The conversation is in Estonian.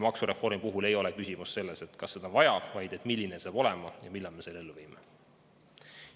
Maksureformi puhul ei ole küsimus selles, kas seda on vaja, vaid selles, milline see tuleb ja millal me selle ellu viime.